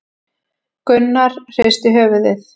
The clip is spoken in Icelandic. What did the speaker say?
Gunnar hristi höfuðið.